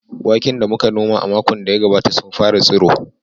Waken da muka noma a makon da ya gabata sun fara tsiro.